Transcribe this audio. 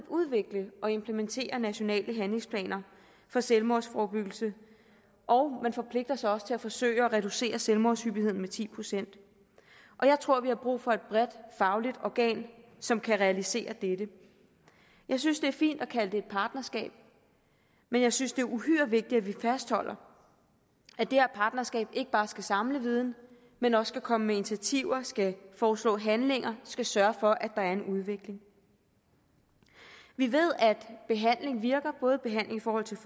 udvikle og implementere nationale handlingsplaner for selvmordsforebyggelse og man forpligter sig også til at forsøge at reducere selvmordshyppigheden med ti procent og jeg tror vi har brug for et bredt fagligt organ som kan realisere dette jeg synes det er fint at kalde det et partnerskab men jeg synes det er uhyre vigtigt at vi fastholder at det her partnerskab ikke bare skal samle viden men også skal komme med initiativer skal foreslå handlinger og sørge for at er en udvikling vi ved at behandling virker både behandling i forhold til